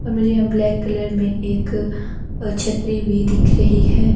और मुझे यहाँ ब्लैक कलर में एक छतरी भी दिख रही है।